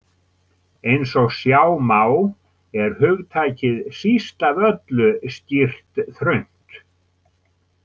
Eins og sjá má er hugtakið síst af öllu skýrt þröngt.